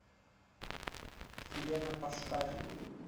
елена поштарь